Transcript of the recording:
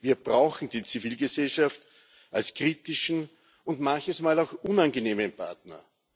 Wir brauchen die Zivilgesellschaft als kritischen und manches Mal auch unangenehmen Partner.